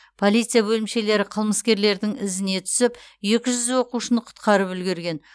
полиция бөлімшелері қылмыскерлердің ізіне түсіп екі жүз оқушыны құтқарып үлгерген